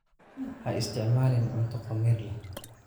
Ha isticmaalin cunto khamiir leh.